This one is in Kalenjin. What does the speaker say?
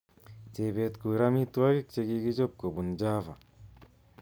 Chebet kurr amitwogik chekichob kobun Java